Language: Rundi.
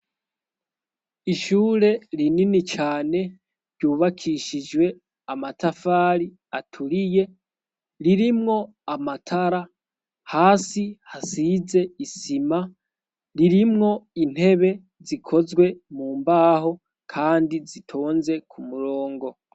Ishure rinini cane, ryubakishijwe amatafari aturiye, ririmwo amatara hasi hasize isima ririmwo intebe zikozwe mu mbaho kandi zitonze ku murongo.